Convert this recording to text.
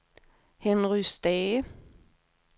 Henry Stage